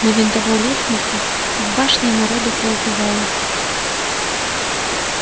на винтовой лестнице в башне народу поубивалось